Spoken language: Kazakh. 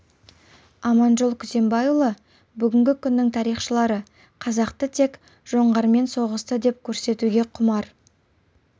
аманжол күзембайұлы бүгінгі күннің тарихшылары қазақты тек жоңғармен соғысты деп көрсетуге құмар